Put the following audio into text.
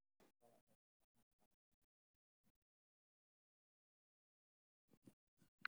Waa maxay astamaha iyo calaamadaha Giant-congenital nevus?